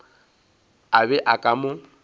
a be a ka mo